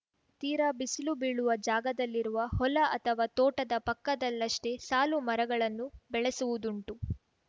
ತೀರಾ ಬಿಸಿಲು ಬೀಳುವ ಜಾಗದಲ್ಲಿರುವ ಹೊಲ ಅಥವಾ ತೋಟದ ಪಕ್ಕದಲ್ಲಷ್ಟೇ ಸಾಲು ಮರಗಳನ್ನು ಬೆಳೆಸುವುದುಂಟು